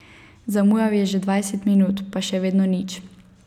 Zamujal je že dvajset minut, pa še vedno nič.